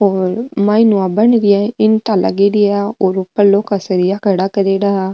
और मायने हु या बन री है इंटा लागेड़ी है ऊपर लौह का सरिया खड़ा करेडा है।